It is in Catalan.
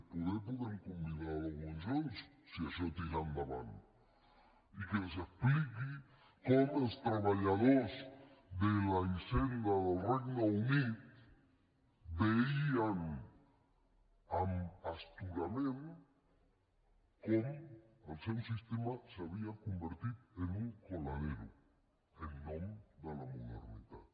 poder podem convidar l’owen jones si això tira endavant i que ens expliqui com els treballadors de la hisenda del regne unit veien amb astorament com el seu sistema s’havia convertit en un coladero en nom de la modernitat